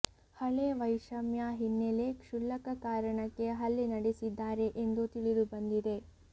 ಹಳೆ ವೈಷಮ್ಯ ಹಿನ್ನೆಲೆ ಕ್ಷುಲ್ಲಕ ಕಾರಣಕ್ಕೆ ಹಲ್ಲೆ ನಡೆಸಿದ್ದಾರೆ ಎಂದು ತಿಳಿದು ಬಂದಿದೆ